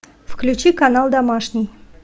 включи канал домашний